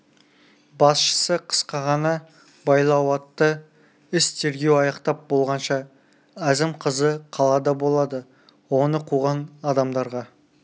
басшысы қысқа ғана байлау айтты іс тергеу аяқтап болғанша әзім қызы қалада болады оны қуған адамдарға